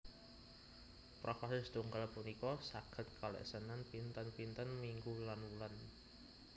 Profase setunggal punika saged kaleksanan pinten pinten minggu lan wulan